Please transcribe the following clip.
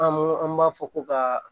An mo an b'a fɔ ko ka